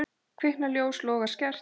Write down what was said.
Kviknar ljós, logar skært.